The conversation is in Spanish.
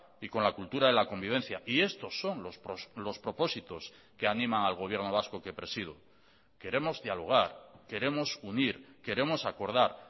y con la cultura de la convivencia y estos son los propósitos que animan al gobierno vasco que presido queremos dialogar queremos unir queremos acordar